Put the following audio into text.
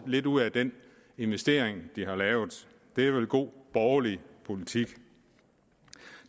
lidt ud at den investering de har lavet det er vel god borgerlig politik